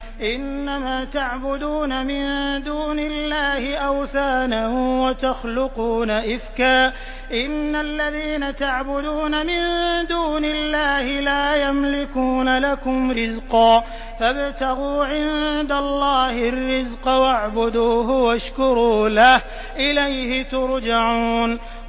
إِنَّمَا تَعْبُدُونَ مِن دُونِ اللَّهِ أَوْثَانًا وَتَخْلُقُونَ إِفْكًا ۚ إِنَّ الَّذِينَ تَعْبُدُونَ مِن دُونِ اللَّهِ لَا يَمْلِكُونَ لَكُمْ رِزْقًا فَابْتَغُوا عِندَ اللَّهِ الرِّزْقَ وَاعْبُدُوهُ وَاشْكُرُوا لَهُ ۖ إِلَيْهِ تُرْجَعُونَ